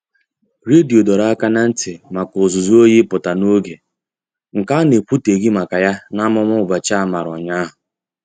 Redio dọrọ aka ná ntị maka ụzụzụ oyi ịpụta n'oge, nke a na-ekwuteghi maka ya n'amụma ụbọchị a mara ụnyaahụ.